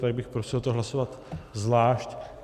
Takže bych prosil to hlasovat zvlášť.